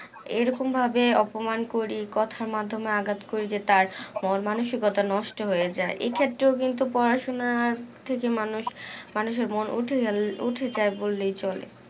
এইরকম ভাবে অপমান করি কথার মাধ্যমে আঘাত করি যে তার মানসিকতা নষ্ট হয়ে যাই এই ক্ষেত্রে কিন্তু পড়াশোনার থেকে মানুষ এর মন উঠে গেল উঠে যাই বললেই চলে